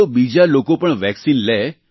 તો બીજા લોકો પણ વેક્સિન લે